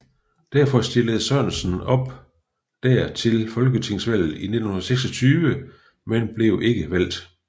Derfor stillede Sørensen op der til folketingsvalget i 1926 men blev ikke valgt